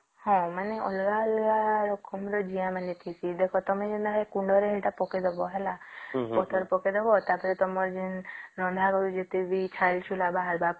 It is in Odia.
ହଁ ମାନେ ଅଲଗା ଅଲଗା ରକମ ର ଜିଆ ମାନେ ଥିବେ ଦେଖ ଯେମିତି ତମେ ସେ କୁଣ୍ଡ ରେ ଏଟା ପକେଇ ଦବ ହେଲା ପତ୍ର ପକେଇ ଦବ ତା ପରେ ତମର ଯେନ ତମର ରନ୍ଧା ର ଯେତେ ବି ଛୈଲ ଛୁଁଲା ବାହାରିବା